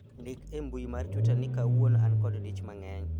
ndik e mbui mar twita ni kawuono an kod dich mang'eny